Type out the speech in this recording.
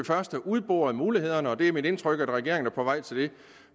først have udboret mulighederne og det er mit indtryk at regeringen på vej til